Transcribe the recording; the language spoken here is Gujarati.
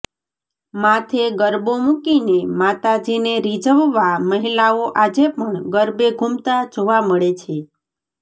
માથે ગરબો મુકીને માતાજીને રીઝવવા મહીલાઓ આજે પણ ગરબે ઘૂમતા જોવા મળે છે